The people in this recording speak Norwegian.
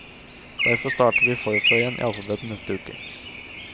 Derfor starter vi forfra igjen i alfabetet neste uke.